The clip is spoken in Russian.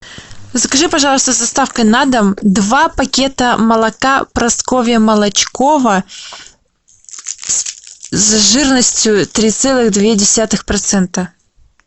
закажи пожалуйста с доставкой на дом два пакета молока просковья молочкова с жирностью три целых два десятых процента